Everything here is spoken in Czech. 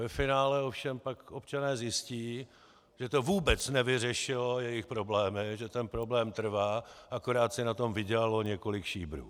Ve finále ovšem pak občané zjistí, že to vůbec nevyřešilo jejich problémy, že ten problém trvá, akorát si na tom vydělalo několik šíbrů.